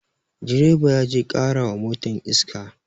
Direba ya je ƙara wa motan iska